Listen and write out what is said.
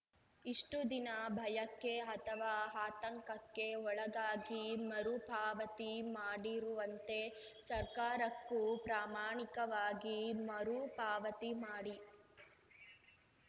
ಇಷ್ಟುದಿನ ಭಯಕ್ಕೆ ಅಥವಾ ಆತಂಕಕ್ಕೆ ಒಳಗಾಗಿ ಮರು ಪಾವತಿ ಮಾಡಿರುವಂತೆ ಸರ್ಕಾರಕ್ಕೂ ಪ್ರಾಮಾಣಿಕವಾಗಿ ಮರು ಪಾವತಿ ಮಾಡಿ